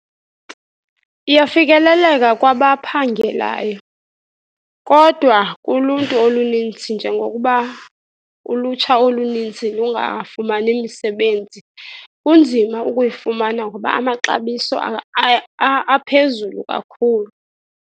Iyafikeleleka kwabaphangelayo, kodwa kuluntu olunintsi njengokuba ulutsha olunintsi lungafumani misebenzi, kunzima ukuyifumana ngoba amaxabiso aphezulu kakhulu.